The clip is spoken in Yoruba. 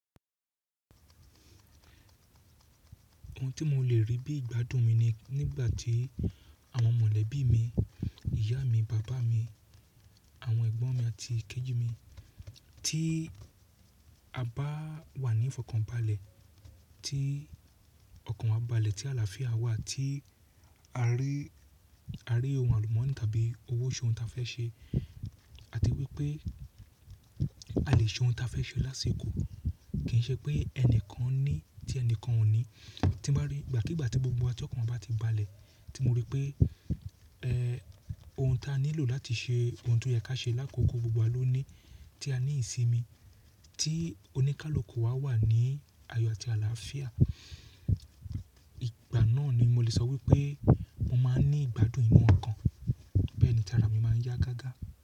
Ohun tí mo lè rí bí ìgbádùn mi ni nígbà tí àwọn mọ̀lẹ́bí mi, ìyá mi, bàbá mi, àwọn ẹ̀gbọ́n mi àti kejì mi, tí a bá wà ní ìfọ̀kànbalẹ̀, tí ọkàn wa balẹ̀, tí àlàáfíà wa, tí a rí, a rí ohun àlùmọ́nì tàbí owóṣọ́ ohun tí a fẹ́ ṣe àti wípé a lè ṣe ohun tí a fẹ́ ṣe lásìkò, kì í ṣe pé ẹnìkan ní tí ẹnìkan ò ní. Tí mo bá rí ìgbàkígbà tí gbogbo wa to ọkàn wa bá ti balẹ̀, tí mo rí pé, ẹ́, ohun tí a nílò láti ṣe ohun tó yẹ kí á ṣe lákòókò gbogbo wa ló ní tí a ní ìsinmi, tí oníkálukú wa wà ní ayọ̀ àti àlàáfíà, ìgbà náà ni mo lè sọ wípé mo máa ní ìgbádùn inú ọkàn. Bẹ́ẹ̀ ni tí ara mi máa yá gágá.